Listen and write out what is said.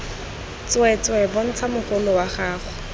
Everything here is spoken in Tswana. tsweetswee bontsha mogolo wa gago